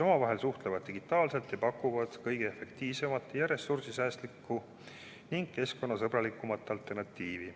Omavahel suhteldakse digitaalselt ja pakutakse kõige efektiivsemat, ressursisäästlikku ning keskkonnasõbralikku alternatiivi.